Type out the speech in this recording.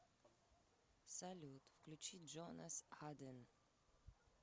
салют включи джонас аден